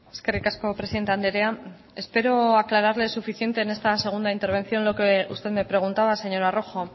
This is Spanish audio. eskerrik asko presidente andrea espero aclararle suficiente en esta segunda intervención lo que usted me preguntaba señora rojo